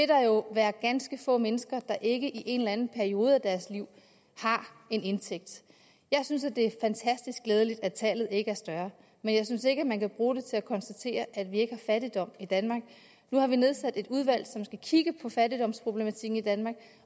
der jo være ganske få mennesker der ikke i en eller anden periode af deres liv har en indtægt jeg synes det er fantastisk glædeligt at tallet ikke er større men jeg synes ikke man kan bruge det til at konstatere at vi ikke har fattigdom i danmark nu har vi nedsat et udvalg som skal kigge på fattigdomsproblematikken i danmark